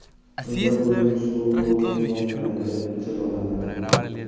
Tunda ko‘lning suvi ko‘k neon rangda jilolanadi.